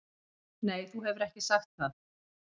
Nei þú hefur ekki sagt það.